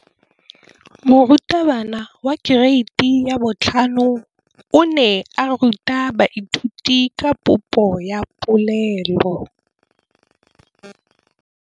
Moratabana wa kereiti ya 5 o ne a ruta baithuti ka popô ya polelô.